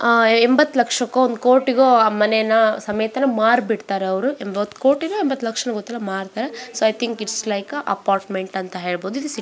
ಆಹ್ಹ್ ಎಂಬತ್ ಲಕ್ಷಕ್ಕೊ ಒಂದ್ ಕೋಟಿಗೋ ಆಹ್ಹ್ ಮನೇನ ಸಮೇತ ಮಾರಿಬಿಡ್ತಾರೆ ಅವರು ಎಂಬತ್ ಕೋಟಿನೊ ಎಂಬತ್ ಲಕ್ಷಕ್ಕೊ ಗೊತ್ತಿಲ್ಲ ಮಾರ್ತಾರೆ so I think it's like a apartment ಅಂತ ಹೇಳಬಹುದು